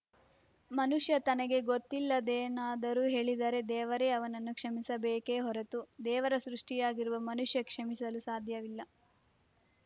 ಮನುಷ್ಯ ತನಗೆ ಗೊತ್ತಿಲ್ಲದ್ದೇನಾದರೂ ಹೇಳಿದರೆ ದೇವರೇ ಅವನನ್ನು ಕ್ಷಮಿಸಬೇಕೇ ಹೊರತು ದೇವರ ಸೃಷ್ಟಿಯಾಗಿರುವ ಮನುಷ್ಯ ಕ್ಷಮಿಸಲು ಸಾಧ್ಯವಿಲ್ಲ